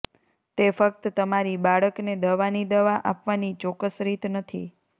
તે ફક્ત તમારી બાળકને દવાની દવા આપવાની ચોક્કસ રીત નથી